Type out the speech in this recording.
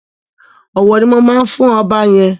Ọ̀wọ̀ ni mo máa fún ọba yẹn.